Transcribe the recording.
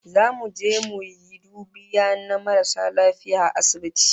Zamu je mu yi dubiya na maras lafiya a asibiti